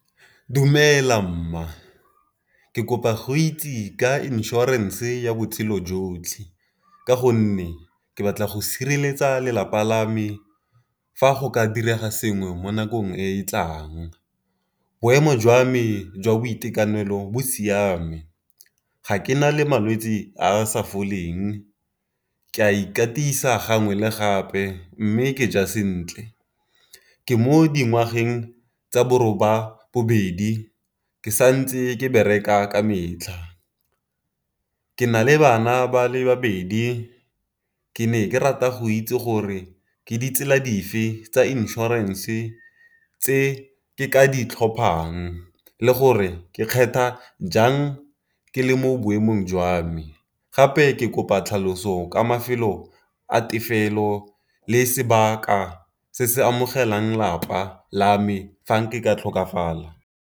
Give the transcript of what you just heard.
Dumela mma ke kopa go itse ka insurance ya botshelo jotlhe, ka gonne ke batla go sireletsa lelapa la me fa go ka direga sengwe mo nakong e e tlang. Boemo jwa me jwa boitekanelo bo siame, ga ke na le malwetsi a a sa foleng, ke a ikatisa gangwe le gape mme ke ja sentle. Ke mo dingwageng tsa bo roba bobedi, ke sa ntse ke bereka ka metlha, ke na le bana ba le babedi, ke ne ke rata go itse gore ke di tsela dife tsa insurance tse ke ka di tlhophang le gore ke kgetha jang ke le mo boemong jwa me. Gape ke kopa tlhaloso ka mafelo a tefelo le sebaka se se amogelang lapa la me fa ke ka tlhokafala.